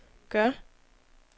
gør